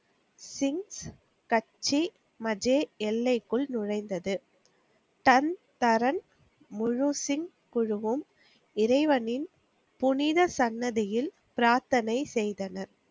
சிங் கட்ஜி மஜே எல்லைக்குள் நுழைந்தது. தன் தரன் முழுசிங் குழுவும் இறைவனின் புனித சன்னதியில் பிராத்தனை செய்தனர்.